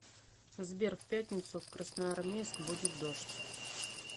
сбер в пятницу в красноармейск будет дождь